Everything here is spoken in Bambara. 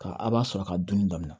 Ka a b'a sɔrɔ ka dunni daminɛ